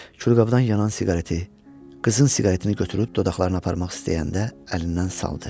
Külqabdan yanan siqareti, qızın siqaretini götürüb dodaqlarına aparmaq istəyəndə əlindən saldı.